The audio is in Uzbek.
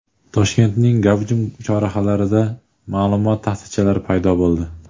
Toshkentning gavjum chorrahalarida ma’lumot taxtachalari paydo bo‘ldi.